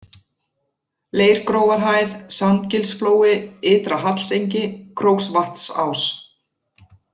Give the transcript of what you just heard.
Leirgrófarhæð, Sandgilsflói, Ytra-Hallsengi, Króksvatnsás